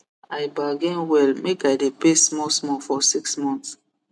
i bargain well make i dey pay smallsmall for six month